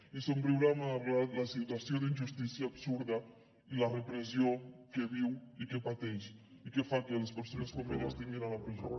i somriurà malgrat la situació d’injustícia absurda i la repressió que viu i que pateix i que fa que les persones com ella estiguin a la presó